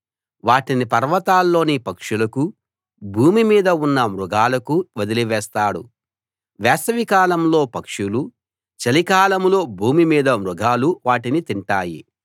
వాటిని పర్వతాల్లోని పక్షులకూ భూమి మీద ఉన్న మృగాలకూ వదిలివేస్తాడు వేసవికాలంలో పక్షులూ చలికాలంలో భూమి మీద మృగాలూ వాటిని తింటాయి